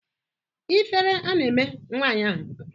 Ifere a na-eme nwaanyị ahụ?